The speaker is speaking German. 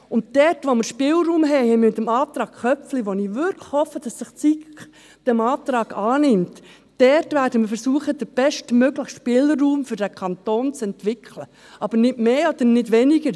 Dort, wo wir Spielraum haben – wie mit dem Antrag Köpfli, bei dem ich wirklich hoffe, dass sich die SiK diesem Antrag annimmt –, werden wir versuchen, den bestmöglichen Spielraum für den Kanton zu entwickeln, nicht mehr und nicht weniger.